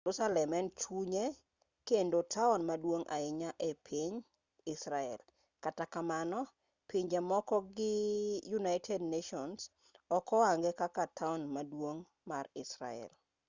jerusalem en chunye kendo taon maduong' ahinya e i piny israel kata kamano pinje moko gi united nations ok ohange kaka taon maduong' mar israel